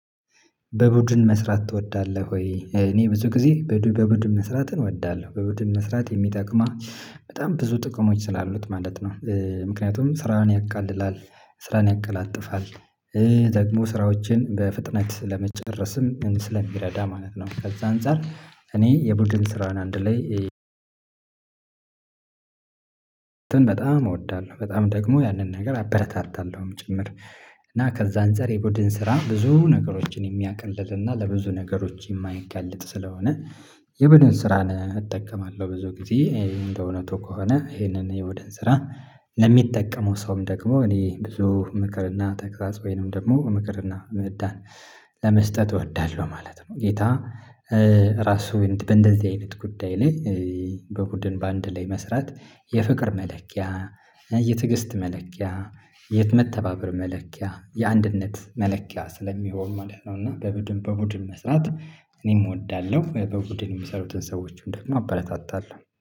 በቡድን መስራት ትወዳለህ ወይ? እኔ ብዙ ጊዜ በዱ በቡድን መስራትን እወዳለሁ በቡድን መስራት የሚጠቅማ በጣም ብዙ ጥቅሞች ስላሉት ማለት ነው። ምክንያቱም ስራን ያቃልላል ስራን ያቀላጥፋል። ደግሞ ስራዎችን በፍጥነት ለመጨረስም ስለሚረዳ ማለት ነው። ከዛ አንፃር እኔ የቡድን ስራን አንድ ላይ እንትን በጣም እወዳለሁ በጣም ደግሞ ያንን ነገር አበረታታለሁም ጭምር። እና ከዛ አንፃር የቡድን ስራ ብዙ ነገሮችን የሚያቀልልና ለብዙ ነገሮች የማያጋልጥ ስለሆነ። የቡድን ስራን እጠቀማለሁ ብዙ ጊዜ እንደ እውነቱ ከሆነ ይሄንን የቡድን ስራ ለሚጠቀመው ሰውም ደግሞ እኔ ብዙ ምክርና ተግሳጽ ወይም ደግሞ ምክርና ምዳን ለመስጠት እወዳለሁ ማለት ነው። ጌታ ራሱ በእንደዚህ አይነት ጉዳይ ላይ። በቡድን በአንድ ላይ መስራት የፍቅር መለኪያ የትግስት መለኪያ የት መተባበር መለኪያ የአንድነት መለኪያ ስለሚሆን ማለት ነው። እና በቡድን በቡድን መስራት እኔም እወዳለሁ በቡድን የሚሰሩትን ሰዎችም ደግሞ አበረታታለሁ